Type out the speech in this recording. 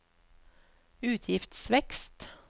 utgiftsvekst